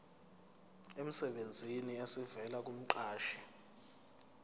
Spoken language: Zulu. emsebenzini esivela kumqashi